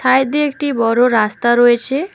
সাইডে একটি বড় রাস্তা রয়েছে।